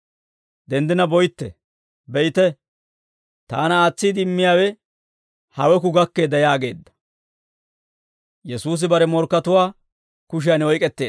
Denddina boytte; be'ite, taana aatsiide immiyaawe haweku gakkeedda» yaageedda.